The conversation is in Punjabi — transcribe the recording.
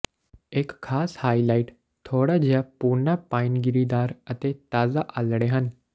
ਇੱਕ ਖਾਸ ਹਾਈਲਾਈਟ ਥੋੜਾ ਜਿਹਾ ਭੂਨਾ ਪਾਈਨ ਗਿਰੀਦਾਰ ਅਤੇ ਤਾਜ਼ਾ ਆਲ੍ਹਣੇ ਹਨ